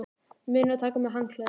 Munið að taka með handklæði!